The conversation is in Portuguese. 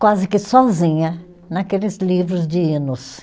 quase que sozinha, naqueles livros de hinos.